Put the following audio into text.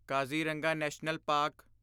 Kaziranga national park